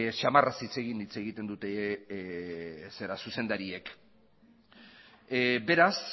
samarraz hitz egin hitz egiten dute zuzendariek beraz